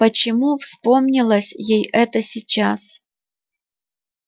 почему вспомнилось ей это сейчас